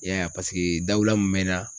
I y'a ye paseke dawula min bɛ n na